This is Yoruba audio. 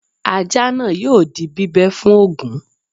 Ajá náà yóò di bíbẹ́ fún Ògún